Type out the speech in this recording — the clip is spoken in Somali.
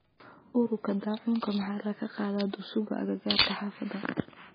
Uuruka dacunka maxa lakaqadha dusuga akakarka hafada .